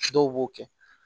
Dɔw b'o kɛ